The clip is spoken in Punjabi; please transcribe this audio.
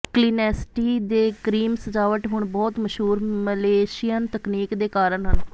ਕਲੀਨੈਸਟੀ ਦੇ ਕ੍ਰੀਮ ਸਜਾਵਟ ਹੁਣ ਬਹੁਤ ਮਸ਼ਹੂਰ ਮਲੇਸ਼ੀਅਨ ਤਕਨੀਕ ਦੇ ਕਾਰਨ ਹੈ